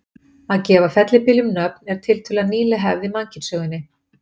Að gefa fellibyljum nöfn er tiltölulega nýleg hefð í mannkynssögunni.